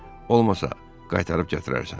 Olmasa, qaytarıb gətirərsən.